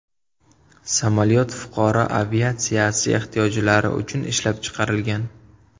Samolyot fuqaro aviatsiyasi ehtiyojlari uchun ishlab chiqarilgan.